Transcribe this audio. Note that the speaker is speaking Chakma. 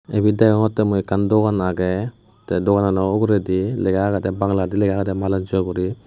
ibet degongotte mui ekkan dogan agey te doganano uguredi lega agede bangaladi lega agedey manojjo guri.